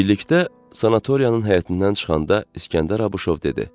Birlikdə sanatoriyanın həyətindən çıxanda İsgəndər Abuşov dedi: